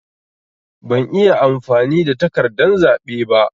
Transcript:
Ban iya amfani da takardan zaɓe ba.